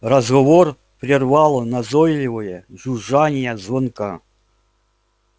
разговор прервало назойливое жужжание звонка